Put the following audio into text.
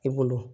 I bolo